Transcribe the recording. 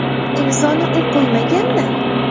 Imzoni u qo‘ymagan-da!